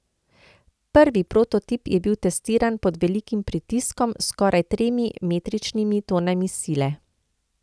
Prvi prototip je bil testiran pod velikim pritiskom s skoraj tremi metričnimi tonami sile.